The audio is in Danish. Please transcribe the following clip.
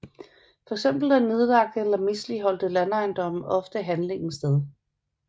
Fx er nedlagte eller misligholdte landejendomme ofte handlingens sted